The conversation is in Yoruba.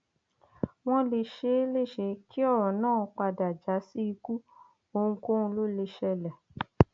wọn lè ṣe é léṣe kí ọrọ náà padà já sí ikú ohunkóhun ló lè ṣẹlẹ